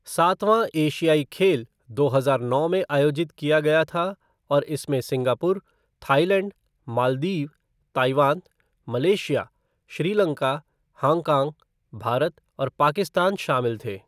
सातवां एशियाई खेल दो हजार नौ में आयोजित किया गया था और इसमें Singapore, Thailand, Maldives, Taiwan, Malaysia, Sri Lanka, Hong Kong, Bharat और पाकिस्तान शामिल थे।